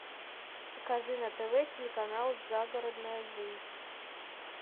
покажи на тв телеканал загородная жизнь